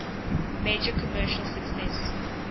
major commercial success